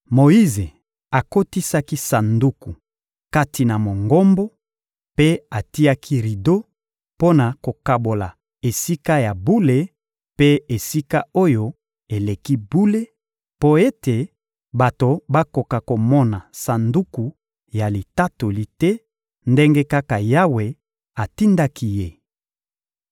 Moyize akotisaki Sanduku kati na Mongombo mpe atiaki rido mpo na kokabola Esika ya bule mpe Esika-Oyo-Eleki-Bule, mpo ete bato bakoka komona Sanduku ya Litatoli te, ndenge kaka Yawe atindaki ye.